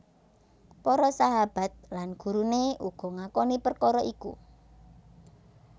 Para sahahabat lan guruné uga ngakoni perkara iku